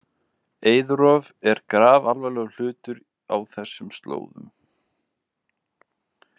Eiðrof er grafalvarlegur hlutur á þessum slóðum.